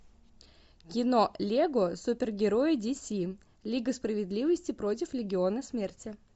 кино лего супергерои ди си лига справедливости против легиона смерти